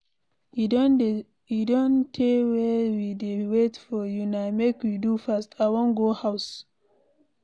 E don tey wey we dey wait for una, make we do fast, I wan go house.